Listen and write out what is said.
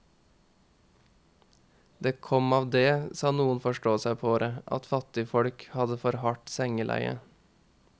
Det kom av det, sa noen forståsegpåere, at fattigfolk hadde for hardt sengeleie.